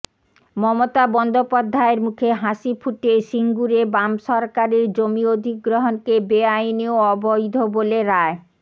মমতা বন্দ্যোপাধ্যায়ের মুখে হাসি ফুটিয়ে সিঙ্গুরে বাম সরকারের জমি অধিগ্রহণকে বেআইনি ও অবৈধ বলে রায়